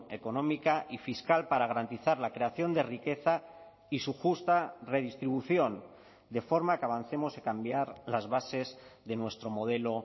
económica y fiscal para garantizar la creación de riqueza y su justa redistribución de forma que avancemos en cambiar las bases de nuestro modelo